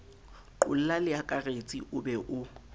qolla leakaretsi o be o